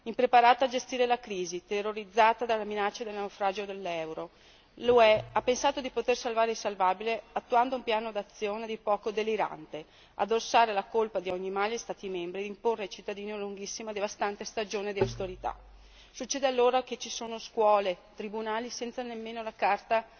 Impreparata a gestire la crisi, terrorizzata dalla minaccia di naufragio dell'euro, l'UE ha pensato di poter salvare il salvabile attuando un piano d'azione a dir poco delirante addossare la colpa di ogni male agli Stati membri e imporre ai cittadini una lunghissima e devastante stagione di austerità. Succede allora che ci sono scuole, tribunali senza nemmeno la carta